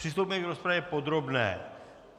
Přistoupíme k rozpravě podrobné.